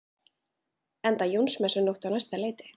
Enda Jónsmessunótt á næsta leiti.